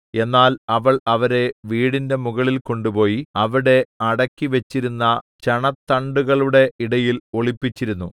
എന്നാൽ അവൾ അവരെ വീടിന്റെ മുകളിൽ കൊണ്ടുപോയി അവിടെ അടുക്കിവെച്ചിരുന്ന ചണത്തണ്ടുകളുടെ ഇടയിൽ ഒളിപ്പിച്ചിരുന്നു